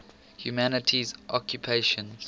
humanities occupations